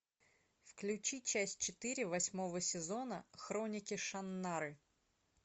включи часть четыре восьмого сезона хроники шаннары